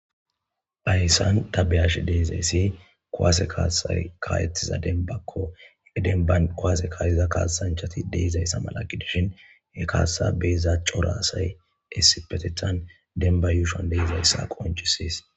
Ayssan tabeyash deezayssi kaseakaayethiza denbakko igidenba kowase kaayiza kaasanchati deizayssa mala gidishin he kaasasa beeza cora asay essipetethan denba yuushon deizayssa qonchisiis.